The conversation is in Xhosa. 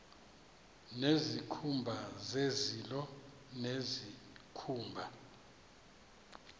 nezikhumba zezilo nezikhumba